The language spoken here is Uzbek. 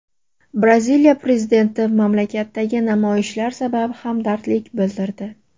Braziliya prezidenti mamlakatdagi namoyishlar sabab hamdardlik bildirdi.